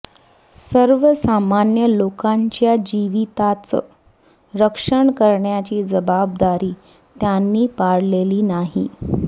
सर्वसामान्य लोकांच्या जीविताचं रक्षण करण्याची जबाबदारी त्यांनी पाळलेली नाही